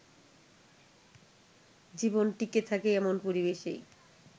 জীবন টিঁকে থাকে এমন পরিবেশেই